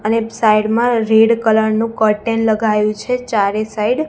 અને સાઈડ માં red colour નું કર્ટેન લગાયુ છે ચારે સાઇડ .